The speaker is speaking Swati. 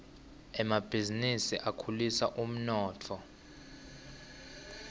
emabhizinisi akhulisa umnotfo